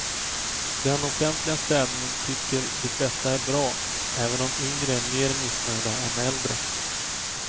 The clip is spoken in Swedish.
Den offentliga städningen tycker de flesta är bra, även om yngre är mer missnöjda än äldre.